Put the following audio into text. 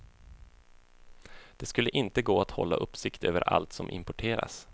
Det skulle inte gå att hålla uppsikt över allt som importeras.